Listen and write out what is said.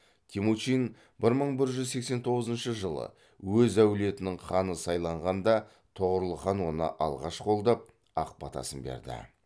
темучин бір мың бір жүз сексен тоғызыншы жылы өз әулетінің ханы сайланғанда тоғорыл хан оны алғаш қолдап ақ батасын берді